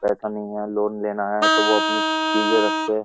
पैसा नहीं है। लोन लेना है तो वे अपनी चीजें रख के --